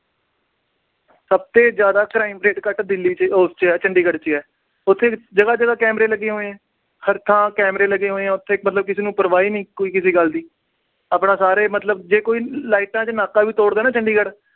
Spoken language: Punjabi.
ਸਭ ਤੋਂ ਜਿਆਦਾ crime rate ਘੱਟ ਦਿੱਲੀ ਚ ਅਹ ਉਸ ਚ ਆ ਚੰਡੀਗੜ੍ਹ ਚ ਆ। ਉਥੇ ਜਗ੍ਹਾ ਜਗ੍ਹਾ camera ਲੱਗੇ ਹੋਏ ਆ। ਹਰ ਥਾਂ camera ਲੱਗੇ ਹੋਏ ਆ ਉਥੇ, ਮਤਲਬ ਕਿਸੇ ਨੂੰ ਕਿਸੇ ਗੱਲ ਦੀ ਕੋਈ ਪਰਵਾਹ ਨੀ। ਆਪਣੇ ਸਾਰਾ ਮਤਲਬ ਜੇ ਕੋਈ light ਚ ਨਾਕਾ ਵੀ ਤੋੜ ਦੇ ਨਾ ਚੰਡੀਗੜ੍ਹ